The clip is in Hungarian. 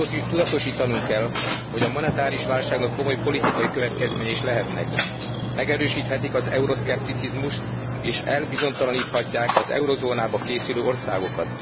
Tudatosítanunk kell, hogy a monetáris válságnak komoly politikai következménye is lehetnek megerősíthetik az euroszkepticizmust és elbizonytalaníthatják az eurózónába készülő országokat.